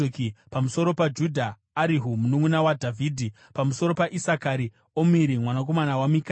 pamusoro paJudha: Erihu, mununʼuna waDhavhidhi; pamusoro paIsakari: Omiri mwanakomana waMikaeri;